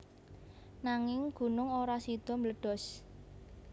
Nanging gunung ora sida mbledos